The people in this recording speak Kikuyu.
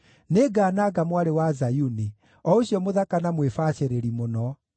Nĩngananga Mwarĩ wa Zayuni, o ũcio mũthaka na mwĩbacĩrĩri mũno.